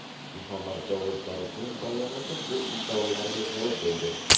Muhammad Javod Zarifning bayonoti bu iddaolarga javob bo‘ldi.